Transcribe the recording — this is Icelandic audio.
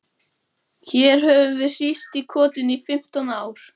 Hér höfum við hírst í kotinu í fimmtán ár.